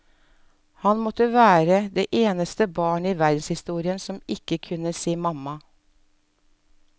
Han måtte være det eneste barnet i verdenshistorien som ikke kunne si mamma.